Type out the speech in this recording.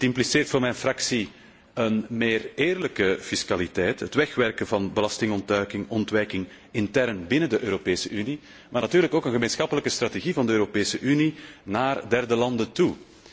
Het impliceert voor mijn fractie een eerlijkere fiscaliteit. Het wegwerken van belastingontduiking en ontwijking intern binnen de Europese Unie, maar natuurlijk ook een gemeenschappelijke strategie van de Europese Unie naar derde landen toe.